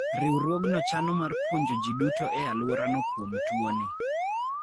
Riwruogno chano mar puonjo ji duto e alworano kuom tuoni.